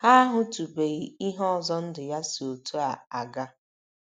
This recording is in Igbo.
Ha ahụtụbeghị ihe ọzọ ndụ ya si otú a aga.